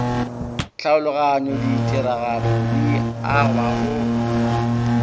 tlhaologanyao ditiragalo di agwa go